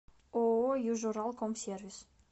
ооо южуралкомсервис